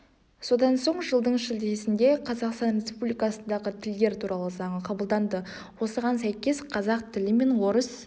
содан соң жылдың шілдесінде қазақстан республикасындағы тілдер туралы заңы қабылданды осыған сәйкес қазақ тілі мен орыс